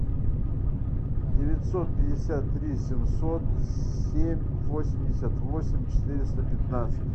девятьсот пятьдесят три семьсот семь восемьдесят восемь четыреста пятнадцать